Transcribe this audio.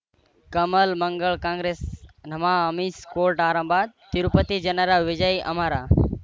ಕಮಲ್ ಮಂಗಳ್ ಕಾಂಗ್ರೆಸ್ ನಮಃ ಅಮಿಷ್ ಕೋರ್ಟ್ ಆರಂಭ ತಿರುಪತಿ ಜನರ ವಿಜಯ ಅಮರ